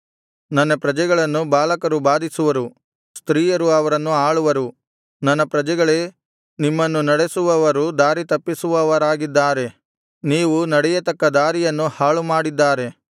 ನನ್ನ ಪ್ರಜೆಗಳನ್ನು ಬಾಲಕರು ಬಾಧಿಸುವರು ಸ್ತ್ರೀಯರು ಅವರನ್ನು ಆಳುವರು ನನ್ನ ಪ್ರಜೆಗಳೇ ನಿಮ್ಮನ್ನು ನಡೆಸುವವರು ದಾರಿತಪ್ಪಿಸುವವರಾಗಿದ್ದಾರೆ ನೀವು ನಡೆಯತಕ್ಕ ದಾರಿಯನ್ನು ಹಾಳುಮಾಡಿದ್ದಾರೆ